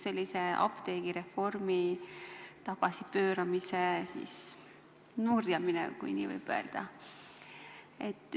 See oli see apteegireformi tagasipööramise nurjamine, kui nii võib öelda.